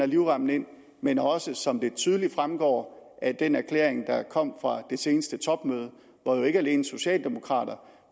livremmen ind men også siger som det tydeligt fremgår af den erklæring der er kommet fra den seneste topmøde hvor jo ikke alene socialdemokrater